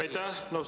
Aitäh!